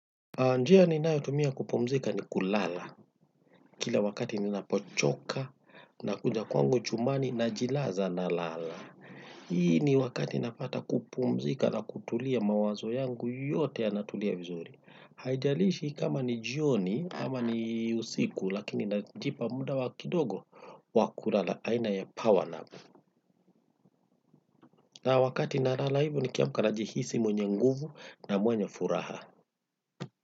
Njia ninayotumia kupumzika ni kulala. Kila wakati ninapochoka nakuja kwangu chumbani najilaza nalala. Hii ni wakati napata kupumzika na kutulia mawazo yangu yote yanatulia vizuri. Haijalishi kama ni jioni ama ni usiku lakini najipa muda wa kidogo wa kulala aina ya powernap. Na wakati nalala hivo nikiamka najihisi mwenye nguvu na mwenye furaha.